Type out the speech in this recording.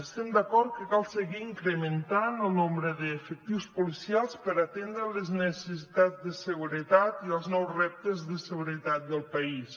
estem d’acord que cal seguir incrementant el nombre d’efectius policials per atendre les necessitats de seguretat i els nous reptes de seguretat del país